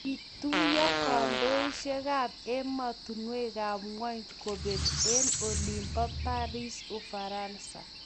Kituyo kandoisiekab emotunwekab ngwony kobek eng olin bo Paris Ufaransa